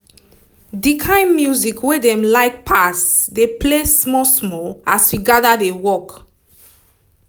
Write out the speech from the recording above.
the kind music wey dem like pass dey play small small as we gather dey work